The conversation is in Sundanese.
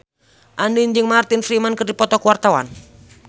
Andien jeung Martin Freeman keur dipoto ku wartawan